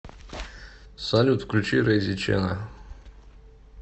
салют включи рейзи чена